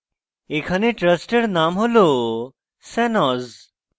এখানে trust name হল shanoz